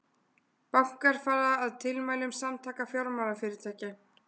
Bankar fara að tilmælum Samtaka fjármálafyrirtækja